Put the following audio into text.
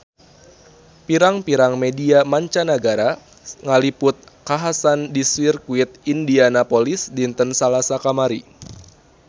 Pirang-pirang media mancanagara ngaliput kakhasan di Sirkuit Indianapolis dinten Salasa kamari